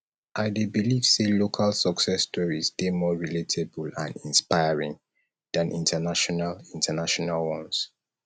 i dey believe say local success stories dey more relatable and inspiring than international international ones